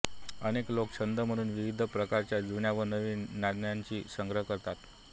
अनेक लोक छंद म्हणून विविध प्रकारच्या जुन्या व नवीन नाण्यांचा संग्रह करतात